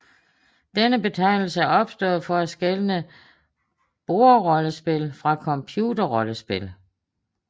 Denne betegnelse er opstået for at skelne bordrollespil fra computerrollespil